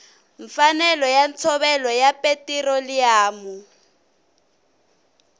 mfanelo ya ntshovelo ya petiroliyamu